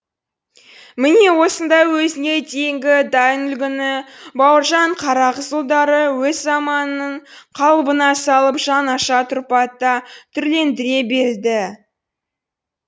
міне осындай өзіне дейінгі дайын үлгіні бауыржан қарағызұлдары өз заманының қалыбына салып жаңаша тұрпатта түрлендіре белді